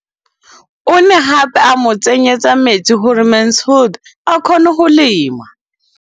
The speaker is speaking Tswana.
O ne gape a mo tsenyetsa metsi gore Mansfield a kgone go lema.